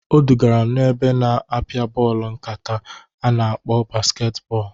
Odugara m n'ebe na-apịa bọọlụ nkata a na-akpọ basket bọọlụ.